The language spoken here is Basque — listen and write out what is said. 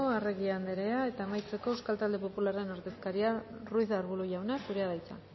arregi jauna eta amaitzeko euskal talde popularraren ordezkaria ruiz de arbulo jauna zurea da hitza